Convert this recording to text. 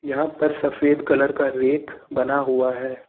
यहां पर सफेद कलर का रैक बना हुआ है।